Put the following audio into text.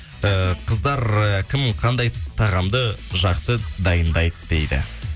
ііі қыздар кім қандай тағамды жақсы дайындайды дейді